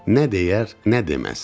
Nə deyər, nə deməz.